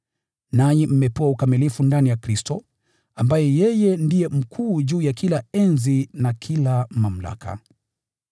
nanyi mmepewa ukamilifu ndani ya Kristo, ambaye ndiye mkuu juu ya kila enzi na kila mamlaka.